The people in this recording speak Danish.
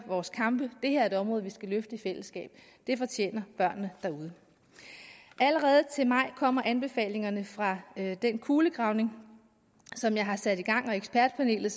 vores kampe det her er et område vi skal løfte i fællesskab det fortjener børnene derude allerede til maj kommer anbefalingerne fra den kulegravning som jeg har sat i gang og ekspertpanelet